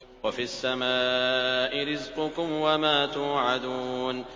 وَفِي السَّمَاءِ رِزْقُكُمْ وَمَا تُوعَدُونَ